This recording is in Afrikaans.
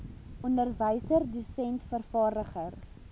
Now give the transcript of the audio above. onderwyser dosent vervaardiger